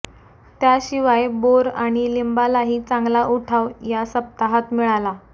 त्याशिवाय बोर आणि लिंबालाही चांगला उठाव या सप्ताहात मिळाला